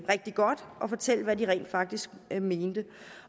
rigtig godt og fortælle hvad de rent faktisk mente